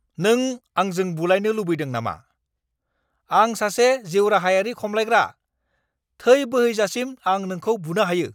नों आंजों बुलाइनो लुबैदों नामा? आं सासे जिउराहायारि खमलायग्रा! थै बोहैजासिम आं नोंखौ बुनो हायो।